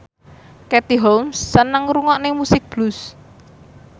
Katie Holmes seneng ngrungokne musik blues